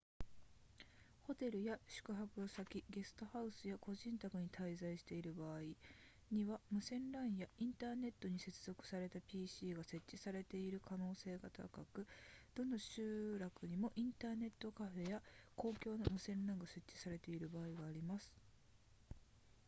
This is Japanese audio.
ホテルや宿泊先ゲストハウスや個人宅に滞在している場合には無線 lan やインターネットに接続された pc が設置されている可能性が高くどの集落にもインターネットカフェや公共の無線 lan が設置されている場所があります